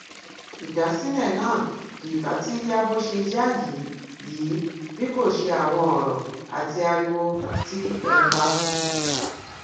ìdásílẹ náà kì bá ti ya bó ṣe yá yìí yìí bí kò ṣe àwọn ọrọ àti ariwo tì ẹ pa